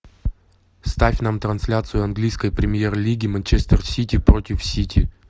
ставь нам трансляцию английской премьер лиги манчестер сити против сити